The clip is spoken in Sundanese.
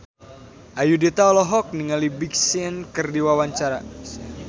Ayudhita olohok ningali Big Sean keur diwawancara